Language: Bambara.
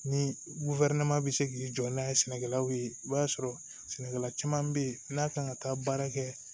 Ni bɛ se k'i jɔ n'a ye sɛnɛkɛlaw ye i b'a sɔrɔ sɛnɛkɛla caman bɛ yen n'a kan ka taa baara kɛ